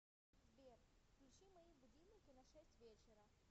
сбер включи мои будильники на шесть вечера